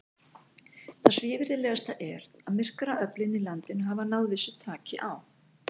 Það svívirðilegasta er, að myrkraöflin í landinu hafa náð vissu taki á.